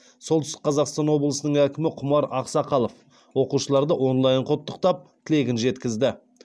солтүстік қазақстан облысының әкімі құмар ақсақалов оқушыларды онлайн құттықтап тілегін жеткізді